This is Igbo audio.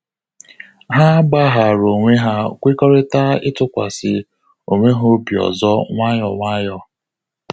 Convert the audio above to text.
Ha gbaghara onwe ha kwekọrịta ịtụkwasị onwe ha obi ọzọ nwayọ nwayọ